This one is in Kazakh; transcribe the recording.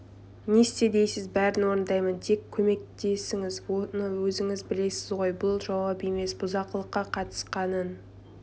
не істе дейсіз бәрін орындаймын тек көмектесіңіз оны өзіңіз білесіз ғой бұл жауап емес бұзақылыққа қатысқанын